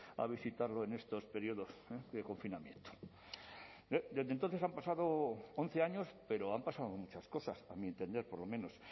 a visitarlo en estos periodos de confinamiento desde entonces han pasado once años pero han pasado muchas cosas a mi entender por lo menos